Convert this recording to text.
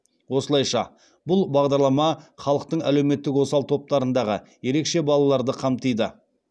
осылайша бұл бағдарлама халықтың әлеуметтік осал топтарындағы ерекше балаларды қамтиды